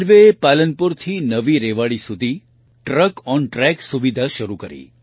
રેલવેએ પાલનપુરથી નવી રેવાડી સુધી ટ્રકોન્ટ્રેક સુવિધા શરૂ કરી